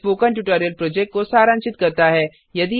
यह spoken tutorial project को सारांशित करता है